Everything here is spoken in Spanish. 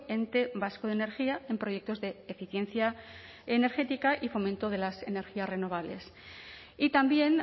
ente vasco de energía en proyectos de eficiencia energética y fomento de las energías renovables y también